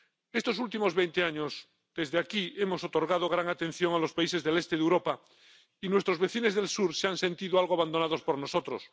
Estos últimos veinte años, desde aquí hemos otorgado gran atención a los países del este de Europa, y nuestros vecinos del sur se han sentido algo abandonados por nosotros.